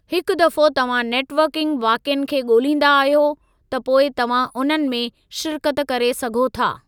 हिक दफ़ो तव्हां नेट वर्किंग वाक़िअनि खे ॻोल्हींदा आहियो, त पोइ तव्हां उन्हनि में शिरकत करे सघो था।